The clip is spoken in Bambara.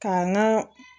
K'an ka